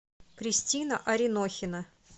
кристина аринохина